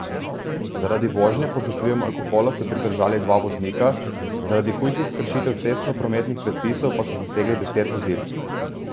Zaradi vožnje pod vplivom alkohola so pridržali dva voznika, zaradi hujših kršitev cestnoprometnih predpisov pa so zasegli deset vozil.